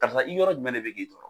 Karisa i yɔrɔ jumɛn de bɛ k'i tɔrɔ.